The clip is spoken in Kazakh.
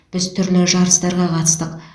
біз түрлі жарыстарға қатыстық